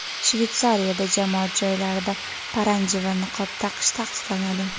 Shveysariyada jamoat joylarida paranji va niqob taqish taqiqlanadi.